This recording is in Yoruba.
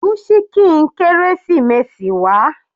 Mú ṣíkìn kérésìmesì wá.